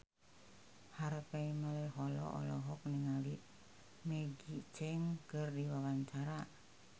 Harvey Malaiholo olohok ningali Maggie Cheung keur diwawancara